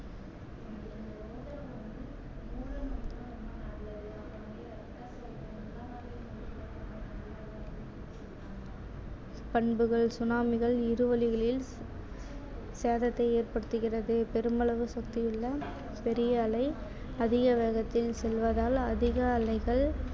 பண்புகள் tsunami கள் இரு வழிகளில் சேதத்தை ஏற்படுத்துகிறது பெருமளவு சுத்தியுள்ள பெரிய அலை அதிக வேகத்தில் செல்வதால் அதிக அலைகள்